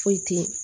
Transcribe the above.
Foyi te ye